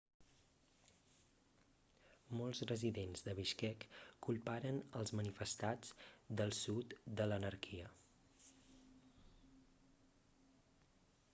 molts residents de bishkek culparen els manifestats del sud de l'anarquia